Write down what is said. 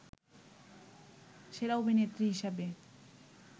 সেরা অভিনেত্রী হিসেবে